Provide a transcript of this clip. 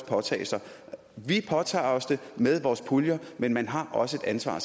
påtage sig vi påtager os det med vores puljer men man har også et ansvar